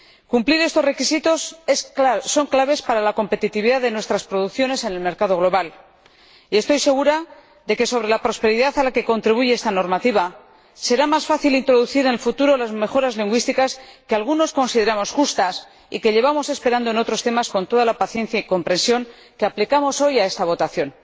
Cumplir estos requisitos es clave para la competitividad de nuestras producciones en el mercado global y estoy segura de que sobre la base de la prosperidad a la que contribuye esta normativa será más fácil introducir en el futuro las mejoras lingüísticas que algunos consideramos justas y que llevamos esperando en otros temas con toda la paciencia y comprensión que aplicamos hoy a esta votación.